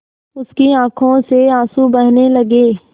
उसकी आँखों से आँसू बहने लगे